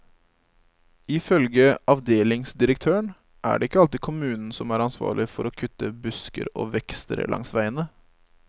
Ifølge avdelingsdirektøren er det ikke alltid kommunen som er ansvarlig for å kutte busker og vekster langs veiene.